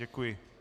Děkuji.